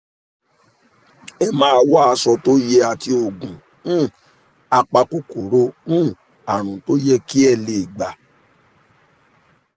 ẹ máa wá aṣọ tó yẹ àti oògùn um apakòkòrò um àrùn tó yẹ kí ẹ lè gbà